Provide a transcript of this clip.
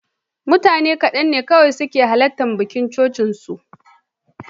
Mutane kaɗan ne kawai suka halarci bikin auren cocinsu.